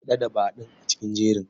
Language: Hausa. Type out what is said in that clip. Haɗa da Badun a cikin jerin.